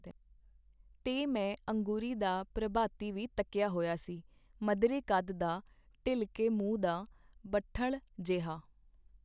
ਤੇ ਮੈਂ ਅੰਗੂਰੀ ਦਾ ਪ੍ਰਭਾਤੀ ਵੀ ਤੱਕੀਆ ਹੋਇਆ ਸੀ, ਮਧਰੇ ਕੱਦ ਦਾ, ਢਿਲਕੇ ਮੂੰਹ ਦਾ, ਬੱਠਲ ਜਿਹਾ.